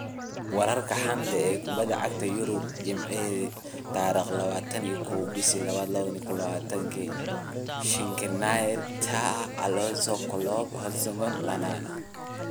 Wararka xanta kubada cagta Yurub Jimce 21.02.2020: Skriniar, Tah, Alonso, Klopp, Hodgson, Lallana